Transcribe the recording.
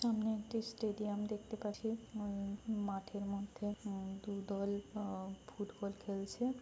এখানে একটি স্টেডিয়াম দেখতে পাচ্ছি উম মাঠের মধ্যে উম দুদল উম ফুটবল খেলছে |